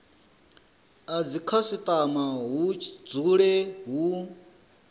a dzikhasitama hu dzule hu